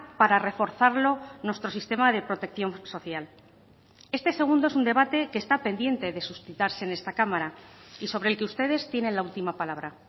para reforzarlo nuestro sistema de protección social este segundo es un debate que está pendiente de suscitarse en esta cámara y sobre el que ustedes tienen la última palabra